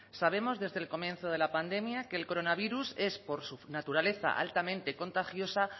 sabemos desde el comienzo de la pandemia que el coronavirus es por naturaleza altamente contagiosa